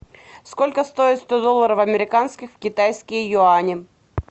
сколько стоит сто долларов американских в китайские юани